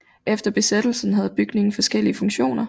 Efter besættelsen havde bygningen forskellige funktioner